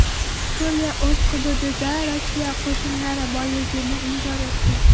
Suriya o‘z hududida Rossiya qo‘shinlari borligini inkor etdi.